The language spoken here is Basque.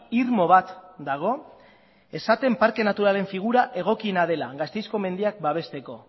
irmo bat dago esaten parke naturalaren figura egokiena dela gasteizko mendiak babesteko